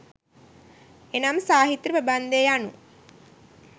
එනම් සාහිත්‍ය ප්‍රබන්ධය යනු